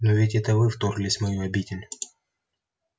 но ведь это вы вторглись в мою обитель